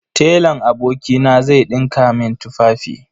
Telan abokina zai ɗinka min tufafi.